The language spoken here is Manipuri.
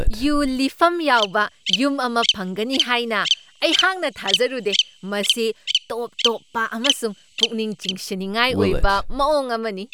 ꯌꯨ ꯂꯤꯐꯝ ꯌꯥꯎꯕ ꯌꯨꯝ ꯑꯃ ꯐꯪꯒꯅꯤ ꯍꯥꯏꯅ ꯑꯩꯍꯥꯛꯅ ꯊꯥꯖꯔꯨꯗꯦ, ꯃꯁꯤ ꯇꯣꯞ ꯇꯣꯞꯄ ꯑꯃꯁꯨꯡ ꯄꯨꯛꯅꯤꯡ ꯆꯤꯡꯁꯤꯟꯅꯤꯡꯉꯥꯏ ꯑꯣꯏꯕ ꯃꯑꯣꯡ ꯑꯃꯅꯤ ꯫